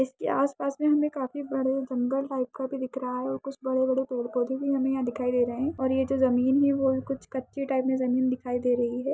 इसके आस-पास में हमे काफी बड़े जंगल टाइप का भी दिख रहा है और कुछ बड़े-बड़े पेड़-पौधे भी हमें यहाँ दिखाई दे रहे हैं और ये जो ज़मीन है वो कुछ कच्चे टाइप मैं ज़मीन दिखाई दे रही है।